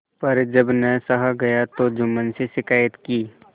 पर जब न सहा गया तब जुम्मन से शिकायत की